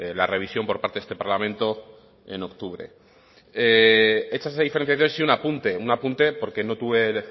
la revisión por parte este parlamento en octubre hecha esa diferenciación sí un apunte un apunte porque no tuve